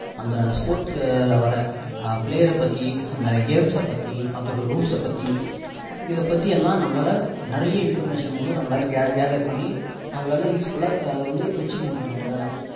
அந்த sports ல வர்ற player ர பற்றி அந்த games பற்றி அதோட rules ச பற்றி இதை பற்றிலாம் நம்மளால நிறைய informations வந்து நம்மளால gather பண்ணி நம்மளால useful லா அதை வந்து வச்சிக்க முடியும் நம்மளால